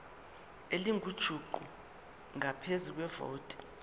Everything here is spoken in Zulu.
elingujuqu ngaphezu kwevoti